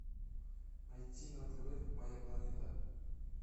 найти на тв моя планета